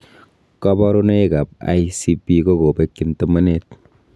Koborunoikab ICP ko kopengyin tomonet.